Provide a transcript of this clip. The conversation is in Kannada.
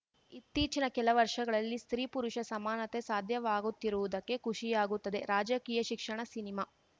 ಇತ್ತೀಚಿನ ಕೆಲ ವರ್ಷಗಳಲ್ಲಿ ಸ್ತ್ರೀಪುರುಷ ಸಮಾನತೆ ಸಾಧ್ಯವಾಗುತ್ತಿರುವುದಕ್ಕೆ ಖುಷಿಯಾಗುತ್ತದೆ ರಾಜಕೀಯ ಶಿಕ್ಷಣ ಸಿನಿಮಾ